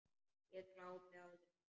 Ég glápi á þau.